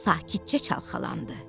Sakitcə çalxalandı.